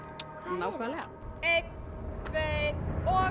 nákvæmlega einn tveir og